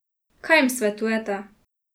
Kaj jim svetujete?